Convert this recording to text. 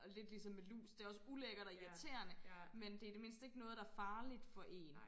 Og lidt ligesom med lus det også ulækkert og irriterende men det i det mindste ikke noget der er farligt for én